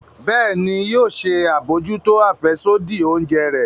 Bẹẹni, yóò ṣe abojuto afẹsodi oúnjẹ rẹ